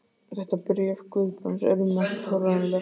Þetta bréf Guðbrands er um margt forvitnilegt.